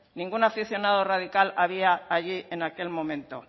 ningún aficionado radical había allí en aquel momento